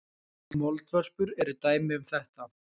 Moldvörpur eru dæmi um þetta.